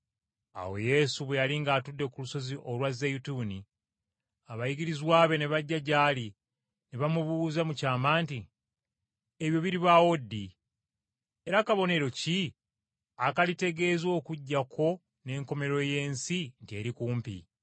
Awo Yesu bwe yali ng’atudde ku lusozi olwa Zeyituuni, abayigirizwa be ne bajja gy’ali ne bamubuuza mu kyama nti, “Ebyo biribaawo ddi? Era kabonero ki akalitegeeza okujja kwo n’enkomerero y’ensi nti eri kumpi?”